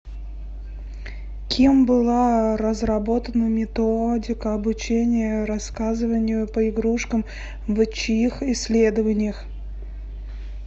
кем была разработана методика обучения рассказыванию по игрушкам в чьих исследованиях